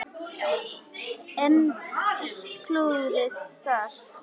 Enn eitt klúðrið þar!